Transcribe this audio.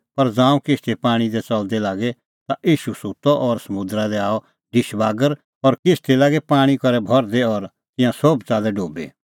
पर ज़ांऊं किश्ती पाणीं दी च़लदी लागी ता ईशू सुत्तअ और समुंदरा दी आअ ढिश बागर और किश्ती लागी पाणीं करै भरदी और तिंयां सोभ च़ाल्लै डुबी